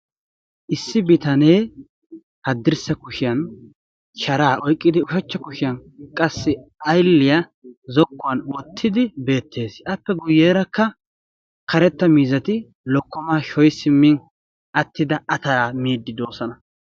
Issi haddirssa kushshiyaan sharaa oyqqidi ushshachcha kushiyaan aylliyaa zokkuwaan wottidi beettees. appe guyerakka karetta miizzati lokkomaa sho'ishin attida atalaa miiddi de'oosona.